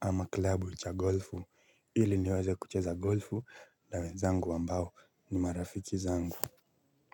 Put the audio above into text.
ama klabu cha golfu ili niweze kucheza golfu na wenzangu ambao ni marafiki zangu.